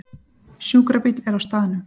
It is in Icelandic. Sjúkrabíll er á staðnum